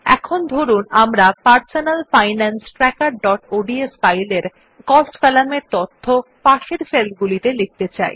এখন ধরুন আমরা personal finance trackerঅডস ফাইল এর কস্ট কলামের তথ্য পাশের সেল গুলিতে লিখতে চাই